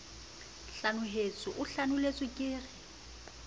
hlanohetswe o hlanohetswe le ke